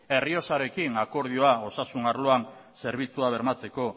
errioxarekin akordioa osasun arloan zerbitzua bermatzeko